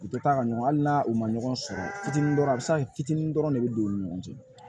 U tɛ taa ka ɲɔgɔn ali n'a u ma ɲɔgɔn sɔrɔ fitinin dɔ a bɛ se ka kɛ fitinin dɔrɔn de bɛ don u ni ɲɔgɔn cɛ